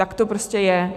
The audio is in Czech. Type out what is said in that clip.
Tak to prostě je.